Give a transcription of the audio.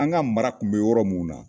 An ga mara kun be yɔrɔ min na